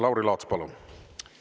Lauri Laats, palun!